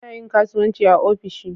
Ana yin kasuwanci ofishi.